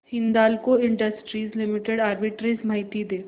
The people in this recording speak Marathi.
हिंदाल्को इंडस्ट्रीज लिमिटेड आर्बिट्रेज माहिती दे